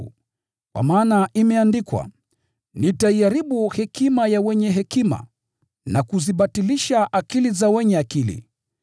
Kwa maana imeandikwa: “Nitaiharibu hekima ya wenye hekima, na kubatilisha akili ya wenye akili.”